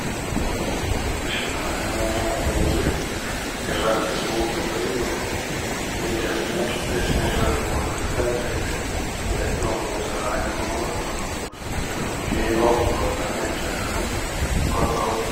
Ishi xa la'ayi noommohu muuze hirranni suuqe woyimmi biddi aasine qixxeessine hirate worroyita dancha gede le'ewo muuze la'ayi noommo hattono kiilo mazzanne hirrayitano hakko albaa wodhite no